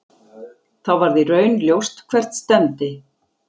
Þá varð í raun ljóst hvert stefndi.